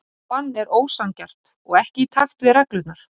Þetta bann er ósanngjarnt og ekki í takt við reglurnar.